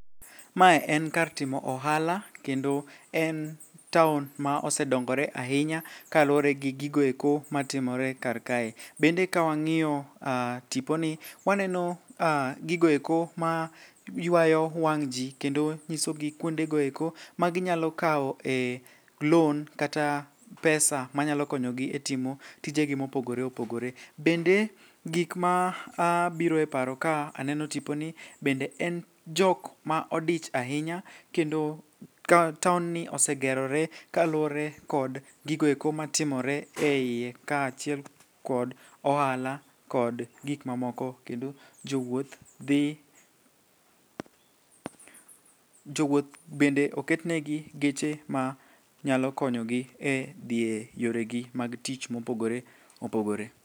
Mae en kar timo ohala kendo en taon ma osedongore ahinya kaluwore gi gigoeko matimore karkae. Bende ka wang'iyo tiponi waneno gigoeko maywayo wang' ji kendo nyisogi kuondegoeko maginyalo kawoe loan kata pesa manyalo konyogi e timo tijegi mopogore opogore. Bende gikma biro e paro ka aneno tiponi bende en jokma odich ahinya kendo taonni osegerore kaluwore kod gigoeko matimore e iye kaachiel kod ohala kod gikmamoko kendo jowuoth bende oketnegi geche manyalo konyogi e dhi e yoregi mag tich mopogore opogore.